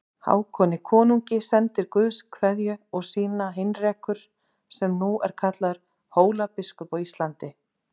Hákoni konungi sendir Guðs kveðju og sína Heinrekur sem nú er kallaður Hólabiskup á Íslandi.